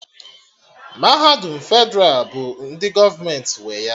Mahadum Fedralụ bụ ndị gọọmenti nwe ya